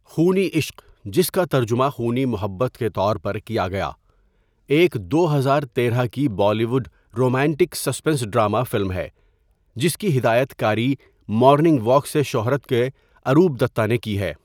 خونی عشق، جس کا ترجمہ خونی محبت کے طور پر کیا گیا، ایک دو ہزار تیرہ کی Bollywood romantic suspense drama film ہے جس کی ہدایت کاری مارننگ واک سے شہرت کے اروپ دتہ نے کی ہے.